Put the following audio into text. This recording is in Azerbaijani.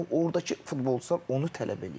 Yəni ordakı futbolçular onu tələb eləyir.